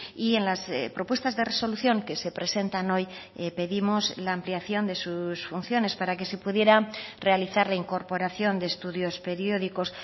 y en las propuestas de resolución que se presentan hoy pedimos la ampliación de sus funciones para que se pudiera realizar la incorporación de estudios periódicos